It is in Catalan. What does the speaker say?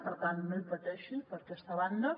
per tant no hi pateixi per aquesta banda